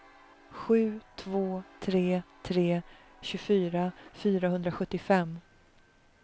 sju två tre tre tjugofyra fyrahundrasjuttiofem